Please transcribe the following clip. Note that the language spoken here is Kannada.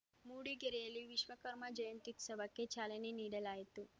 ಮೂಡಿಗೆರೆಯಲ್ಲಿ ವಿಶ್ವಕರ್ಮ ಜಯಂತ್ಯುತ್ಸವಕ್ಕೆ ಚಾಲನೆ ನೀಡಲಾಯಿತು